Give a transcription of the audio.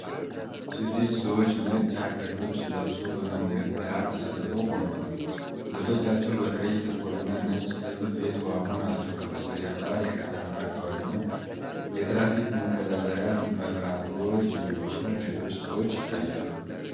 ስድስት ሰዎች ነጭ የሀገር ልብስ ለብሰው፣ በመንገድ ዳር ተሰልፈው ቆመዋል። ልብሶቻቸው በቀይ፣ ጥቁርና ነጭ ጥልፍ የተዋቡ ናቸው። ከበስተጀርባ የከተማ አካባቢና የትራፊክ መቆጣጠሪያ መብራቶች እንዲሁም ሌሎች ሰዎች ይታያሉ።